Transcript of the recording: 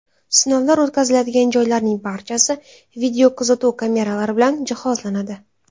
Sinovlar o‘tkaziladigan joylarning barchasi videokuzatuv kameralar bilan jihozlanadi.